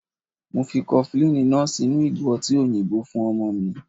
Mo fi kofilini náà sínú ìgò ọtí òyìnbó fún ọmọ mi.